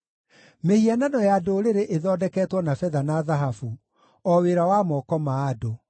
Mĩhianano ya ndũrĩrĩ ĩthondeketwo na betha na thahabu, o wĩra wa moko ma andũ.